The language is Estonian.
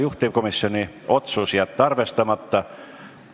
Juhtivkomisjoni otsus: jätta arvestamata.